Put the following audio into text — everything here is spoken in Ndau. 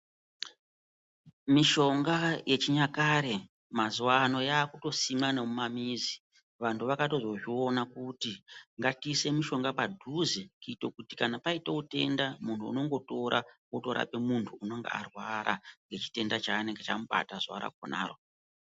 Mishonga yechinyakare mazuva ano yakutosimwa nemumamizi vantu vakatozozviona kuti ngatiisewo mishonga padhuze kuti kana paitawo denda muntu unongotora otorapa muntu anenge arwara muchitenda chinenge chamubata zuvaro.